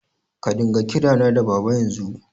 Ka dinga kirana da Baba yanzu!